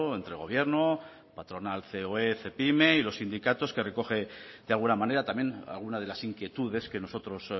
entre gobierno patronal ceoe cepyme y los sindicatos que recoge de alguna manera también alguna de las inquietudes que nosotros